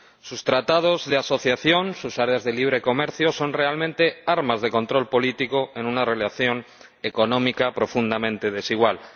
Sus tratados de asociación, sus áreas de libre comercio son en realidad armas de control político en una relación económica profundamente desigual.